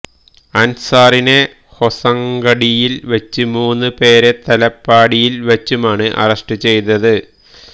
അന്സാറിനെ ഹൊസങ്കടിയില് വെച്ചും മൂന്നുപേരെ തലപ്പാടിയില് വെച്ചുമാണ് അറസ്റ്റ് ചെയ്തത്